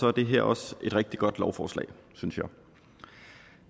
er det her også et rigtig godt lovforslag synes